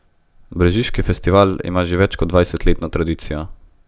Brežiški festival ima že več kot dvajsetletno tradicijo.